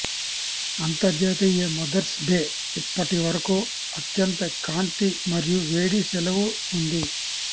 అంతర్జాతీయ Mother's Day ఇప్పటివరకు అత్యంత కాంతి మరియు వేడి సెలవు ఉంది